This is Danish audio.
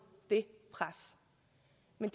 end